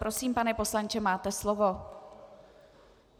Prosím, pane poslanče, máte slovo.